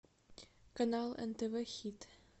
канал нтв хит